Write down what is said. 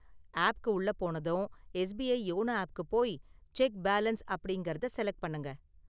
ஆப்க்கு உள்ள போனதும், SBI YONO ஆப்க்கு போய் செக் பேலன்ஸ் அப்படிங்கறதை செலக்ட் பண்ணுங்க.